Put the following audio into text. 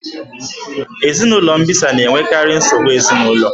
Ezinụlọ mbisa na-enwekarị nsogbu ezinụlọ.